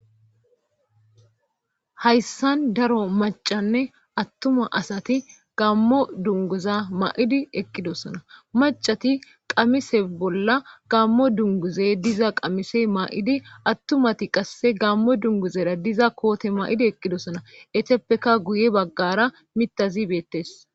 hayssan daro macanne attuma asati gammo dunguza ma7idi eqqidosona macati qamise bolla gammo dunguze diza qamise maa7idi attumati qasse gammo dunguzera diza koote ma7idi eqqidosona eteppeka guye baggara mitazi beettes